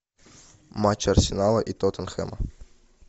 матч арсенала и тоттенхэма